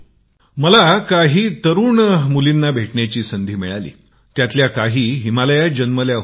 मला एका छोट्या वयाच्या मुलींना भेटण्याची संधी मिळाली त्यात काही हिमालयात जन्मल्या होत्या